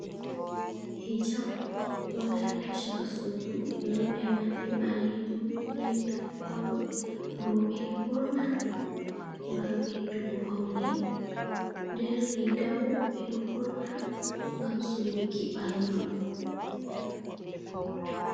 Hijab ɗo dari ha shaka sudu nonde manni ɓalejum be milik kolo. Roɓe ɗo ɓurna ngam ɓeddugo faune, nden riga bo ɓeɗo ɓurna ngam suruki ɓandu.